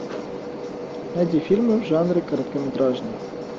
найди фильмы в жанре короткометражный